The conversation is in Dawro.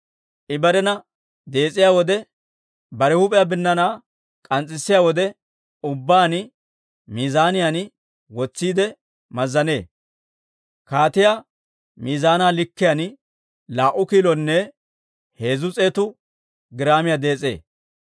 I barena dees'iyaa wode bare huup'iyaa binnaanaa k'ans's'issee; bare huup'iyaa binnaanaa k'ans's'issiyaa wode ubbaan miizaaniyaan wotsiide mazzanee; kaatiyaa miizaanaa likkiyaan laa"u kilonne heezzu s'eetu giraamiyaa dees'ee.